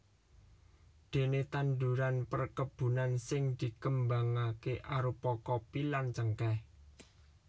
Déné tanduran perkebunan sing dikembangaké arupa kopi lan cengkèh